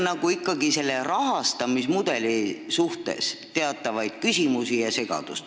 Neil on selle rahastamismudeli suhtes ikkagi teatavaid küsimusi ja segadust.